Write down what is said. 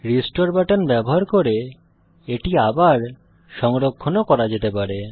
restore button ব্যবহার করে এটি পুনঃ সংরক্ষণ ও করা যেতে পারে